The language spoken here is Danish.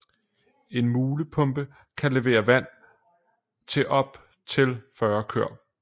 En mulepumpe kan levere vand til op til 40 køer